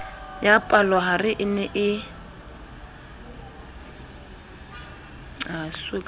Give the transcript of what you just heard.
ya palohare e ne e